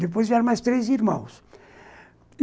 Depois vieram mais três irmãos.